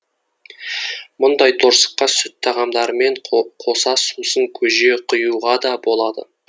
мұндай торсыққа сүт тағамдарымен қоса сусын көже құюға да болады